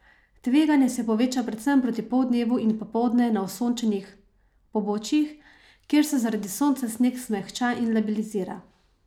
Tveganje se poveča predvsem proti poldnevu in popoldne na osončenih pobočjih, kjer se zaradi sonca sneg zmehča in labilizira.